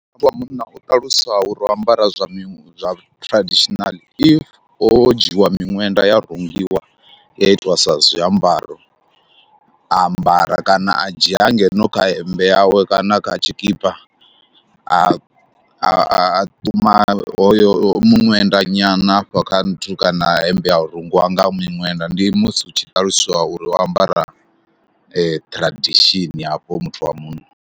Muthu wa munna u ṱalusa uri o ambara zwa mi zwa traditional if o dzhiiwa miṅwenda ya rungiwa ya itiwa sa zwiambaro, a ambara kana a dzhia hangeno kha hemmbe yawe kana kha tshikipa a a ṱuma hoyo miṅwenda nyana hafha kha nthu kana hemmbe ha rungiwa nga miṅwenda. Ndi musi hu tshi ṱaluswa uri o ambara tradition hafho muthu wa munna.